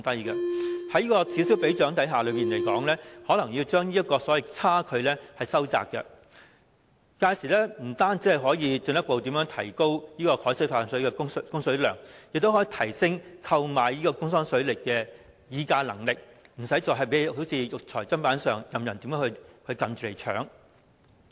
在此消彼長的情況下，這個差距可能會收窄，屆時不單可以進一步提高海水化淡水的供水量，亦可以提升購買東江水的議價能力，不會再如肉隨砧板上，任人宰割。